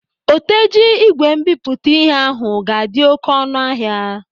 Oteji ígwè mbipụta ịhe ahụ ga-adị oké ọnụ ahịa.